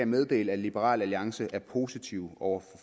meddele at liberal alliance er positive over